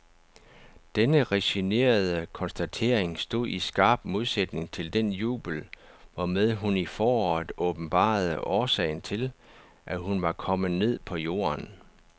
Denne resignerede konstatering stod i skarp modsætning til den jubel, hvormed hun i foråret åbenbarede årsagen til, at hun var kommet ned på jorden.